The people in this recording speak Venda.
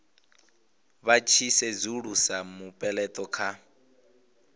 vha tshi sedzulusa mupeleto kha